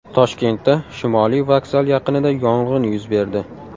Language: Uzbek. Toshkentda Shimoliy vokzal yaqinida yong‘in yuz berdi.